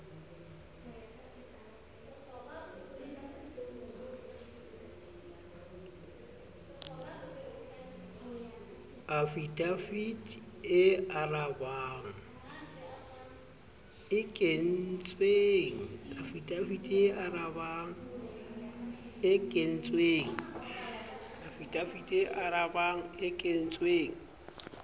afidavite e arabang e kentsweng